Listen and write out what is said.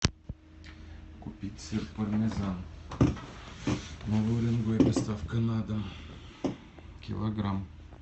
купить сыр пармезан новый уренгой доставка на дом килограмм